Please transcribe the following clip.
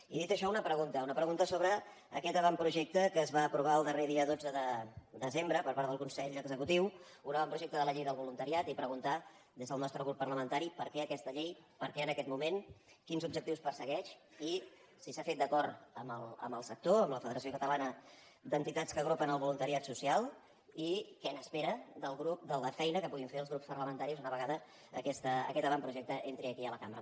i dit això una pregunta una pregunta sobre aquest avantprojecte que es va aprovar el darrer dia dotze de desembre per part del consell executiu un avantprojecte de la llei del voluntariat i preguntar des del nostre grup parlamentari per què aquesta llei per què en aquest moment quins objectius persegueix i si s’ha fet d’acord amb el sector amb la federació catalana d’entitats que agrupen el voluntariat social i què n’espera de la feina que puguin fer els grups parlamentaris una vegada aquest avantprojecte entri aquí a la cambra